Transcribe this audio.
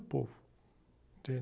povo. Entende?